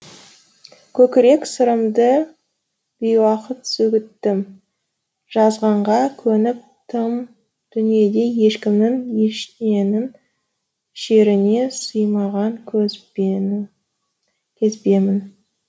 көкірек сырымды бейуақыт сөгіттім жазғанға көніп тым дүниеде ешкімнің ешненің шеріне сыймағанкезбемін